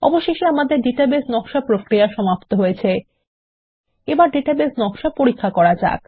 অবশেষে আমাদের ডাটাবেস নকশা প্রক্রিয়া সমাপ্ত হয়েছে এবার ডাটাবেস নকশা পরীক্ষা করা যাক